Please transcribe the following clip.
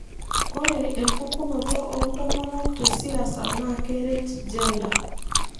Ore empukunoto oontomonok tesiasa naa keeret gender.